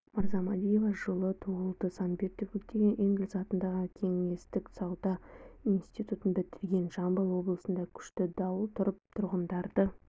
мырзамадиева жылы туылды санкт-петербургтегі энгельс атындағы кеңестік сауда институтын бітірген жамбыл облысында күшті дауыл тұрып тұрғындарды